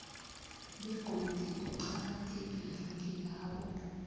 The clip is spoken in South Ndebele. begodu uqakathekile kilabo